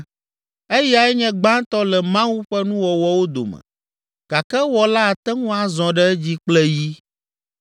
Eyae nye gbãtɔ le Mawu ƒe nuwɔwɔwo dome gake Ewɔla ate ŋu azɔ ɖe edzi kple yi.